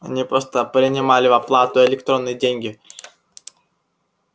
они просто принимали в оплату электронные деньги